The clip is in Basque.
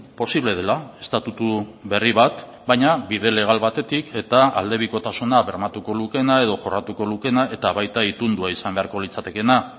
posible dela estatutu berri bat baina bide legal batetik eta aldebikotasuna bermatuko lukeena edo jorratuko lukeena eta baita itundua izan beharko litzatekeena